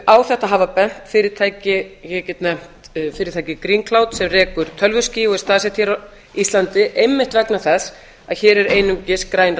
á þetta hafa bent fyrirtæki ég get nefnt fyrirtækið sem rekur tölvuskífur og er staðsett hér á íslandi einmitt vegna þess að hér er einungis græn